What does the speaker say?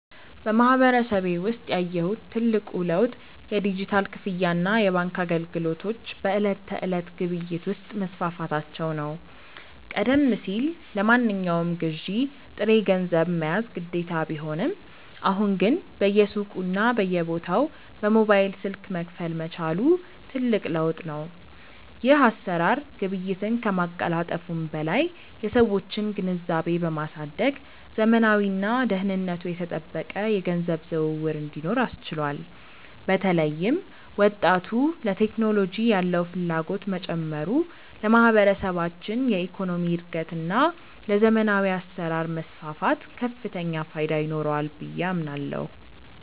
በማህበረሰቤ ውስጥ ያየሁት ትልቁ ለውጥ የዲጂታል ክፍያና የባንክ አገልግሎቶች በዕለት ተዕለት ግብይት ውስጥ መስፋፋታቸው ነው። ቀደም ሲል ለማንኛውም ግዢ ጥሬ ገንዘብ መያዝ ግዴታ ቢሆንም፣ አሁን ግን በየሱቁና በየቦታው በሞባይል ስልክ መክፈል መቻሉ ትልቅ ለውጥ ነው። ይህ አሰራር ግብይትን ከማቀላጠፉም በላይ የሰዎችን ግንዛቤ በማሳደግ ዘመናዊና ደህንነቱ የተጠበቀ የገንዘብ ዝውውር እንዲኖር አስችሏል። በተለይም ወጣቱ ለቴክኖሎጂ ያለው ፍላጎት መጨመሩ ለማህበረሰባችን የኢኮኖሚ እድገትና ለዘመናዊ አሰራር መስፋፋት ከፍተኛ ፋይዳ ይኖረዋል ብዬ አምናለሁ።